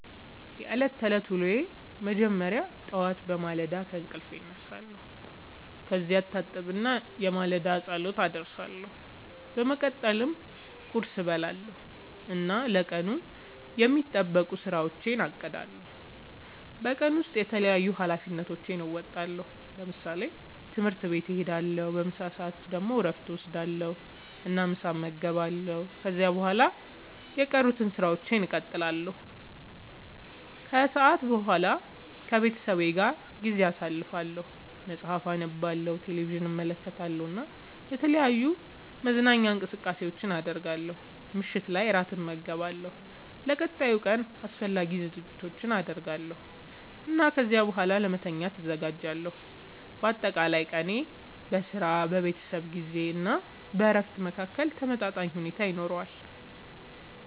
የዕለት ተዕለት ዉሎየ መጀመሪያ ጠዋት በማለዳ ከእንቅልፌ እነሳለሁ። ከዚያ እታጠብና የማለዳ ጸሎት አደርሳለሁ። በመቀጠልም ቁርስ እበላለሁ እና ለቀኑ የሚጠበቁ ሥራዎቼን አቅዳለሁ። በቀን ውስጥ የተለያዩ ኃላፊነቶቼን እወጣለሁ። ለምሳሌ፦ ትምህርት ቤት እሄዳለሁ። በምሳ ሰዓት ደግሞ እረፍት እወስዳለሁ እና ምሳ እመገባለሁ። ከዚያ በኋላ የቀሩትን ሥራዎች እቀጥላለሁ። ከሰዓት በኋላ ከቤተሰቤ ጋር ጊዜ አሳልፋለሁ፣ መጽሐፍ አነባለሁ፣ ቴሌቪዥን እመለከታለሁ እና የተለያዩ መዝናኛ እንቅስቃሴዎችን አደርጋለሁ። ምሽት ላይ እራት እመገባለሁ፣ ለቀጣዩ ቀን አስፈላጊ ዝግጅቶችን አደርጋለሁ እና ከዚያ በኋላ ለመተኛት እዘጋጃለሁ። በአጠቃላይ ቀኔ በሥራ፣ በቤተሰብ ጊዜ እና በእረፍት መካከል ተመጣጣኝ ሁኔታ ይኖረዋል።